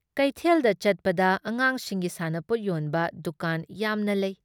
ꯀꯩꯊꯦꯜꯗ ꯆꯠꯄꯗ ꯑꯉꯥꯡꯁꯤꯡꯒꯤ ꯁꯥꯟꯅꯄꯣꯠ ꯌꯣꯟꯕ ꯗꯨꯀꯥꯟ ꯌꯥꯝꯅ ꯂꯩ ꯫